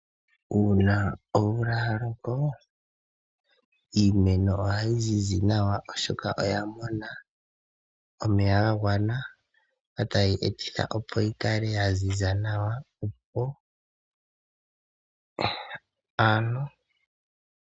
Uuna omvula ya loka, iimeno ohayi zizi nawa oshoka oya mona omeya ga gwana, ngo taga etitha opo yi kale ya ziza nawa.